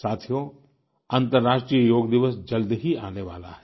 साथियो अंतर्राष्ट्रीय योग दिवस जल्द ही आने वाला है